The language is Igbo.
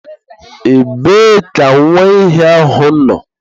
Ebe ka nwa ehi ahụ nọ?